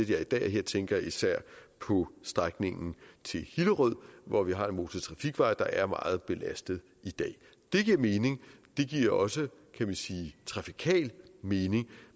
det er i dag her tænker jeg især på strækningen til hillerød hvor vi har en motortrafikvej der er meget belastet i dag det giver mening det giver også kan man sige trafikal mening